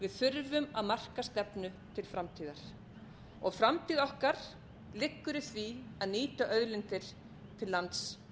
við þurfum að marka stefnu til framtíðar framtíð okkar liggur í því að nýta auðlindir til lands og